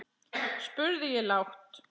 spurði ég lágt.